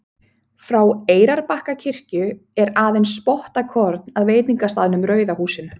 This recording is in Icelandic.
Frá Eyrarbakkakirkju er aðeins spottakorn að veitingastaðnum Rauða húsinu.